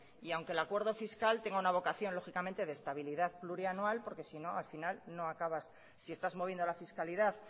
y aunque el acuerdo fiscal y tenga una vocación lógicamente de estabilidad plurianual porque si no al final no acabas si estás moviendo la fiscalidad